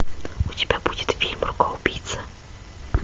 у тебя будет фильм рука убийца